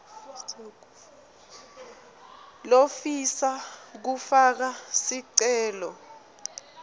lofisa kufaka sicelo